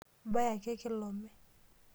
Ibaya ake kilome.